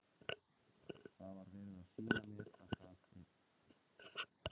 Það var verið að sýna mér að þau eru algeng á engjum.